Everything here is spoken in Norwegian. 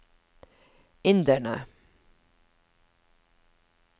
inderne